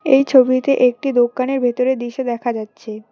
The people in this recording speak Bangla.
এই ছবিতে একটি দোকানের ভেতরের দৃশ্য দেখা যাচ্ছে।